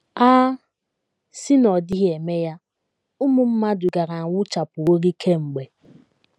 A sị na ọ dịghị eme ya, ụmụ mmadụ gaara anwụchapụworị kemgbe!